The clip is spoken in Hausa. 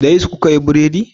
Da yisti kuka yi buredi?